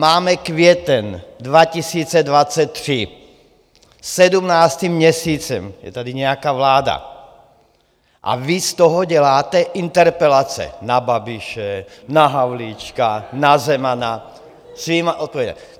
Máme květen 2023, sedmnáctým měsícem je tady nějaká vláda a vy z toho děláte interpelace na Babiše, na Havlíčka, na Zemana svými odpověďmi.